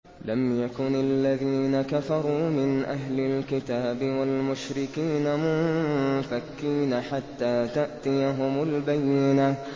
لَمْ يَكُنِ الَّذِينَ كَفَرُوا مِنْ أَهْلِ الْكِتَابِ وَالْمُشْرِكِينَ مُنفَكِّينَ حَتَّىٰ تَأْتِيَهُمُ الْبَيِّنَةُ